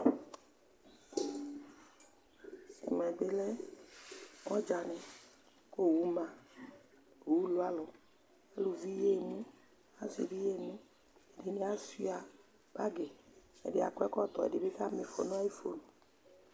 Ɛmɛ bɩ lɛ ɔdzanɩ kʋ owu ma Owu lʋ alʋ Aluvi yaɣa emu, asɩ bɩ yaɣa emu Ɛdɩnɩ asʋɩa bagɩ Ɛdɩ akɔ ɛkɔtɔ, ɛdɩ bɩ kama ɩfɔ nʋ ayʋ fon